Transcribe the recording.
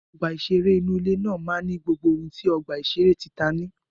Ọgbà ìṣẹré inú ilé náà máa gbogbo ohun tí ọ̀gbà ìṣeré tí tìta ní